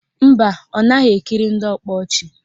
Mba, ọ naghị ekiri ndị ọkpa ọchị